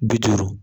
Bi duuru